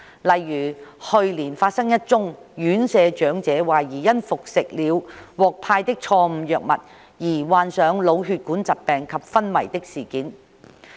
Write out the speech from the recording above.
例如，去年發生一宗院舍長者懷疑因服食了獲派的錯誤藥物而患上腦血管疾病及昏迷的事件。